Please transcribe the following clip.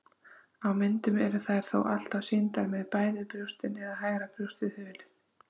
Á myndum eru þær þó alltaf sýndar með bæði brjóstin eða hægra brjóstið hulið.